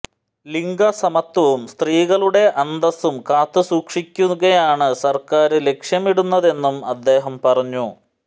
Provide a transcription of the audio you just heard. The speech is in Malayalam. ലിംഗ സമത്വവും സ്ത്രീകളുടെ അന്തസും കാത്തുസൂക്ഷിക്കുകയാണ് സര്ക്കാര് ലക്ഷ്യമിടുന്നതെന്നും അദ്ദേഹം പറഞ്ഞു